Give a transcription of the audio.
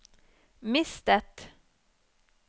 mistet